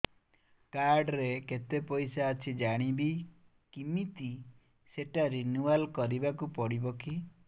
card ରେ କେତେ ପଇସା ଅଛି ଜାଣିବି କିମିତି ସେଟା ରିନୁଆଲ କରିବାକୁ ପଡ଼ିବ କି